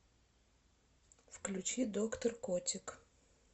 включи доктор котик